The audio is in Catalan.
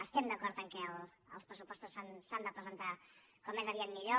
estem d’acord que els pressupostos s’han de presentar com més aviat millor